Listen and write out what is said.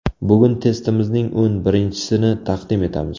Bugun testimizning o‘n birinchisini taqdim etamiz.